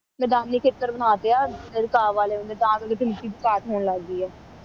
ਮੈਦਾਨੀ ਬਣਾ ਤੇ ਆ